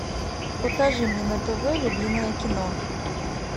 покажи мне на тв любимое кино